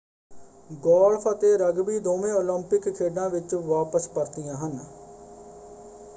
Golf ਅਤੇ rugby ਦੋਵੇਂ Olympic ਖੇਡਾਂ ਵਿੱਚ ਵਾਪਸ ਪਰਤੀਆਂ ਹਨ।